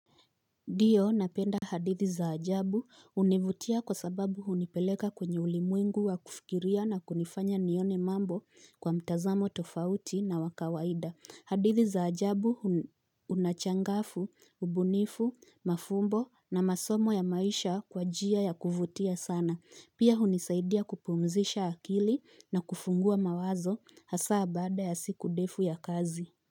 Ndiyo napenda hadithi za ajabu hunivutia kwa sababu hunipeleka kwenye ulimwengu wa kufikiria na kunifanya nione mambo kwa mtazamo tofauti na wa kawaida. Hadithi za ajabu na changafu ubunifu mafumbo na masomo ya maisha kwa njia ya kuvutia sana. Pia hunisaidia kupumzisha akili na kufungua mawazo hasa baada ya siku ndefu ya kazi.